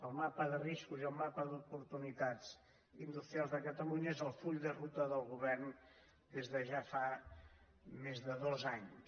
el mapa de riscos i el mapa d’oportunitats industri·als de catalunya és el full de ruta del govern des de ja fa més de dos anys